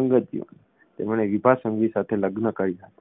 અંગત જીવન તેમણે વિભા સંઘવી સાથે લગ્ન કર્યા હતા